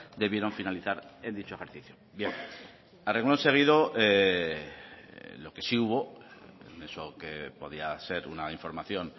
debieran finalizar en dicho ejercicio bien a reglón seguido lo que sí hubo eso que podía ser una información